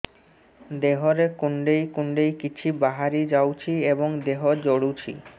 ଦେହରେ କୁଣ୍ଡେଇ କୁଣ୍ଡେଇ କିଛି ବାହାରି ଯାଉଛି ଏବଂ ଦେହ ଜଳୁଛି